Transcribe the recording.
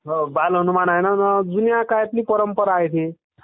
हो बाल हनुमान आहे ना आणा जुन्या काळातली परंपरा आहे ती.